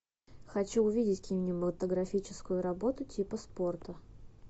хочу увидеть кинематографическую работу типа спорта